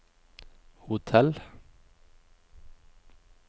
hotell